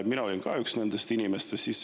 Mina olin ka üks nendest inimestest.